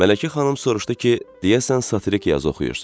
Mələkə xanım soruşdu ki, deyəsən satirik yazı oxuyursunuz.